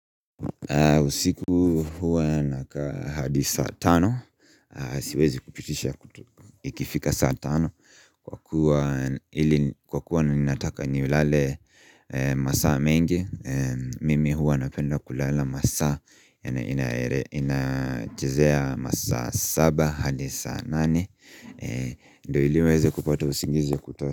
Usiku huwa nakaa hadi saa tano, siwezi kupitisha ikifika saa tano Kwa kuwa ninataka nilale masaa mengi, mimi huwa napenda kulala masaa Inachezea masaa saba hadi saa nane, ndio iliuweze kupata usingizi ya kutoa.